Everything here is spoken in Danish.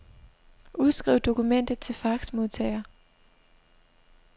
Udskriv dokumentet til faxmodtager.